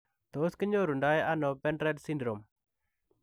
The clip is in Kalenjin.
Tos kinyorundoi anoo bendred sindirom?